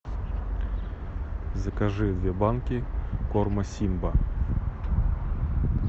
закажи две банки корма симба